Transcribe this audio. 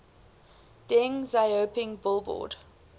deng xiaoping billboard